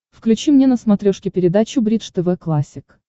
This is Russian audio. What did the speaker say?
включи мне на смотрешке передачу бридж тв классик